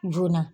Joona